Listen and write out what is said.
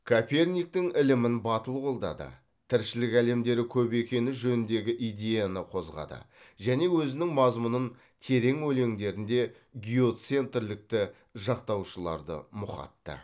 коперниктің ілімін батыл қолдады тіршілік әлемдері көп екені жөніндегі идеяны қоғады және өзінің мазмұны терең өлеңдерінде геоцентрлікті жақтаушыларды мұқатты